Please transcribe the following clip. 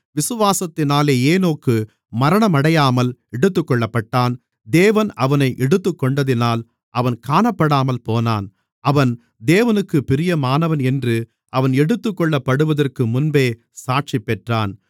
விசுவாசத்தினாலே ஏனோக்கு மரணமடையாமல் எடுத்துக்கொள்ளப்பட்டான் தேவன் அவனை எடுத்துக்கொண்டதினால் அவன் காணப்படாமல் போனான் அவன் தேவனுக்குப் பிரியமானவன் என்று அவன் எடுத்துக்கொள்ளப்படுவதற்கு முன்பே சாட்சிபெற்றான்